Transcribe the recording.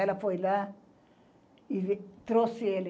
Ela foi lá e trouxe ele.